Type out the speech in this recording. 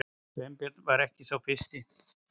Sveinbjörn var ekki sá fyrsti.